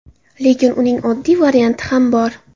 Lekin uning oddiy varianti ham bor.